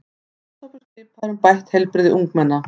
Starfshópur skipaður um bætt heilbrigði ungmenna